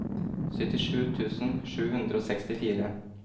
syttisju tusen sju hundre og sekstifire